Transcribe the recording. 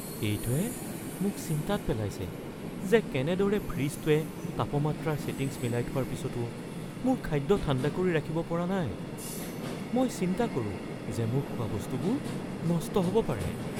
এইটোৱে মোক চিন্তাত পেলাইছে যে কেনেদৰে ফ্ৰিজটোৱে তাপমাত্ৰাৰ ছেটিংছ মিলাই থোৱাৰ পিছতো মোৰ খাদ্য ঠাণ্ডা কৰি ৰাখিব পৰা নাই – মই চিন্তা কৰো যে মোৰ খোৱাবস্তুবোৰ নষ্ট হ'ব পাৰে।